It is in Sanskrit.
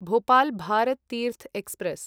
भोपाल् भारत् तीर्थ् एक्स्प्रेस्